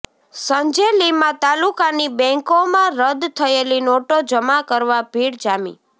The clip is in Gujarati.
સંજેલીમાં તાલુકાની બેંકોમાં રદ થયેલી નોટો જમા કરવા ભીડ જામી